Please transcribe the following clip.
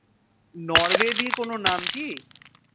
Norway দিয়ে কোনো নাম কি?